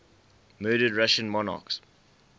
murdered russian monarchs